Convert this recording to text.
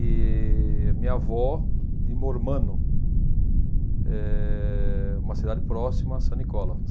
E minha avó, de Mormano, é uma cidade próxima a San Nicola.